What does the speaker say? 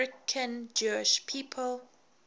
american jewish people